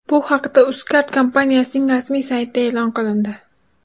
Bu haqda UzCard kompaniyasining rasmiy saytida e’lon qilindi .